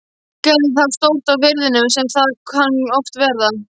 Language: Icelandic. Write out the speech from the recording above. Gerði þá stórt á firðinum sem þar kann oft verða.